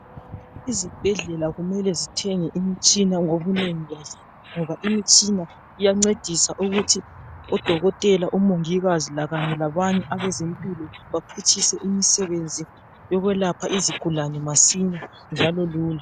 Izibhedlela kumele zithenge imitshina ngobunengi bazo, ngoba imitshina iyancedisa ukuthi odokotela, omongikazi lakanye labanye abezempilo baphutshise imisebenzi yokwelapha izigulane masinya njalo lula.